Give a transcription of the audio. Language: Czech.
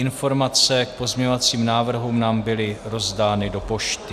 Informace k pozměňovacím návrhům nám byly rozdány do pošty.